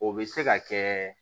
O bɛ se ka kɛ